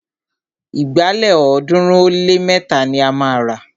Ìgbálẹ̀ ọ̀ọ́dúnrún ó lé mẹ́ta ni a máa rà